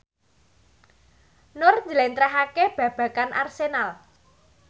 Nur njlentrehake babagan Arsenal